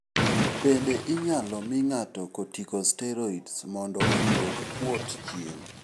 Bende inyalo mi ng'ato corticosteroids mondo odwok kuot chien.